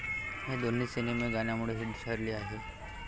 हे दोन्ही सिनेमे गाण्यांमुळे हिट ठरली.